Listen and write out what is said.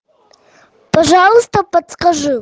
пожалуйста подскажи